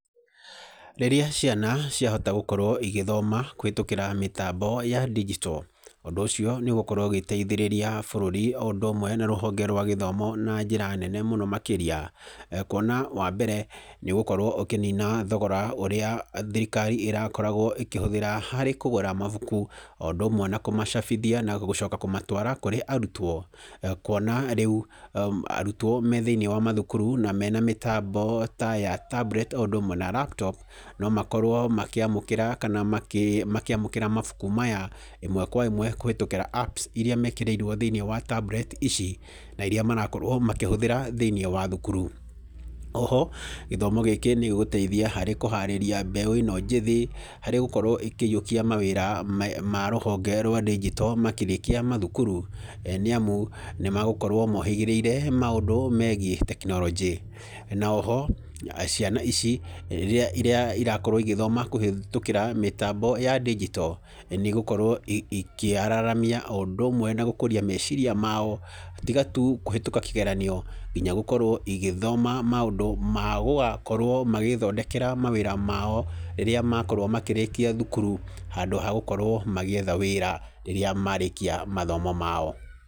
Rĩrĩa ciana ciahota gũkorwo igĩthoma kũhĩtũkĩra mĩtambo ya ndigito, ũndũ ũcio nĩũkũhota gũteithĩrĩria bũrũri o ũndũ ũmwe na rũhonge rwa gĩthomo na njĩra nene mũno makĩria. Kuona wambere nĩũgũkorwo ũkĩnina thogora ũrĩa thirikari ĩrakoragwo ĩkĩhũthĩra harĩ kũgũra mabuku, o ũndũ ũmwe na kũmacabithia na gũcoka kũmatwara kũrĩ arutwo. Kuona rĩu arutwo me thĩinĩ wa mathukuru na mena mĩtambo ta ya tablet o ũndũ ũmwe na laptop no makorwo makĩamũkĩra mabuku maya ĩmwe kwa ĩmwe kũhitũkĩra apps iria mekĩrĩirwo thĩinĩ wa tablet ici, na iria marakorwo makĩhũthĩra thĩinĩ wa thukuru. Oho gĩthomo gĩkĩ nĩgĩgũteithia harĩ kũharĩria mbeũ ĩno njĩthĩ harĩ gũkorwo makĩiyũkia mawĩra ma rũhonge rwa ndigito makĩrĩkia mathukuru, nĩamu nĩmagũkorwo mohĩgĩrĩire maũndũ megiĩ tekinorojĩ. Na oho rĩrĩa ciana ici cigũkorwo cigĩthoma kũhĩtũkĩra mĩtambo ya ndigito nĩigũkorwo ikĩararamia o ũndũ ũmwe na gũkũria meciria mao tiga tu kũhĩtũka kĩgeranio, nginya gũkorwo magĩthoma maũndũ magũgakorwo magĩĩthondekera mawĩra mao rĩrĩa makorwo makĩrĩkia thukuru handũ ha gũkorwo magĩetha wĩra rĩrĩa marĩkia mathomo mao.